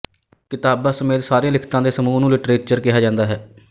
ਕਿਤਾਬਾਂ ਸਮੇਤ ਸਾਰੀਆਂ ਲਿਖਤਾਂ ਦੇ ਸਮੂਹ ਨੂੰ ਲਿਟਰੇਚਰ ਕਿਹਾ ਜਾਂਦਾ ਹੈ